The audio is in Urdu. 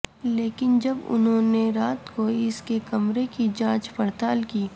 لیکن جب انہوں نے رات کو اس کے کمرے کی جانچ پڑتال کی